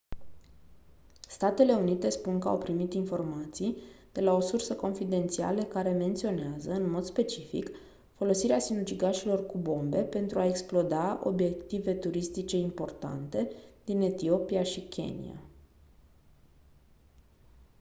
statele unite spun că au primit informații de la o sursă confidențială care menționează în mod specific folosirea sinucigașilor cu bombe pentru a exploda «obiective turistice importante» din etiopia și kenia.